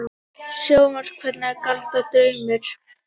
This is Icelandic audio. Sjónhverfing, galdrar, draumur?